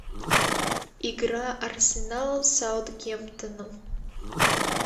игра арсенал с саутгемптоном